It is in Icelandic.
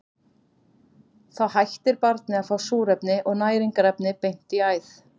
Þá hættir barnið að fá súrefni og næringarefni beint í æð.